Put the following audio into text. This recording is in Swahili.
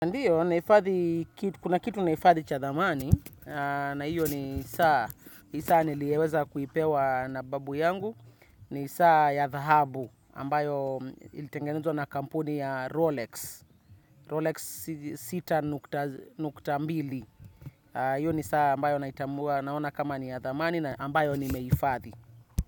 Ndiyo, kuna kitu nahifadhi cha dhamani, na hiyo ni saa niliyoweza kuipewa na babu yangu, ni saa ya dhahabu ambayo ilitengenezwa na kampuni ya Rolex, Rolex sita nukta mbili, hiyo ni saa ambayo naitambua naona kama ni ya dhamani na ambayo nimehifadhi.